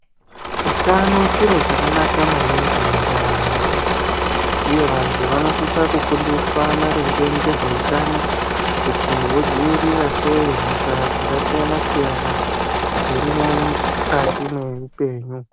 Utano chiro chakanaka maningi mundaramo yemuntu uye vantu vanosisa kufundiswa maringe ngezveutano kuti vodzivirira sei hosha dzaka siyana siyana dzirimwo mu kati mweupenyu.